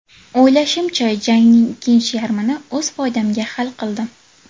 O‘ylashimcha, jangning ikkinchi yarmini o‘z foydamga hal qildim.